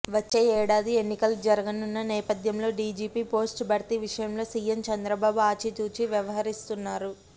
వచ్చే ఏడాది ఎన్నికలు జరగనున్న నేపధ్యంలో డీజీపీ పోస్టు భర్తీ విషయంలో సీఎం చంద్రబాబు అచితూచి వ్యవహరిస్తున్నారు